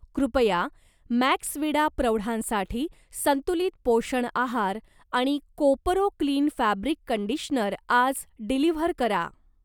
कृपया मॅक्सविडा प्रौढांसाठी संतुलित पोषण आहार आणि कोपरो क्लीन फॅब्रिक कंडिशनर आज डिलिव्हर करा.